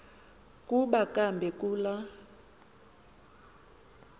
kuba kambe kula